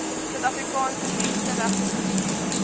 suid afrikaanse menseregtekommissie